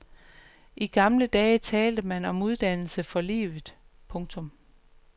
I gamle dage talte man om uddannelse for livet. punktum